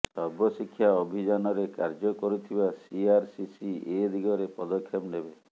ସର୍ବଶିକ୍ଷା ଅଭିଯାନରେ କାର୍ଯ୍ୟ କରୁଥିବା ସିଆରସିସି ଏଦିଗରେ ପଦକ୍ଷେପ ନେବେ